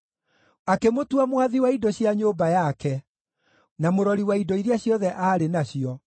Akĩmũtua mwathi wa indo cia nyũmba yake, na mũrori wa indo iria ciothe aarĩ nacio,